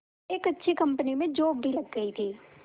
एक अच्छी कंपनी में जॉब भी लग गई थी